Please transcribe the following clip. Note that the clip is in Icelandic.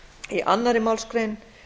í annarri málsgrein